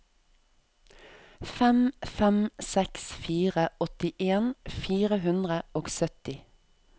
fem fem seks fire åttien fire hundre og sytti